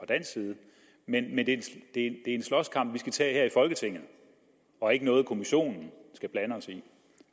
dansk side men det er en slåskamp vi skal tage her i folketinget og ikke noget kommissionen skal